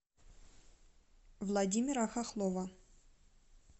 владимира хохлова